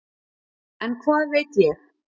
En hvað veit ég.